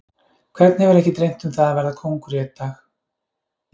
Hvern hefur ekki dreymt um það að verða kóngur einn dag?